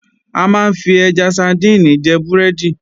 A máa ń fi ẹja sadíìnì jẹ búrẹ́dì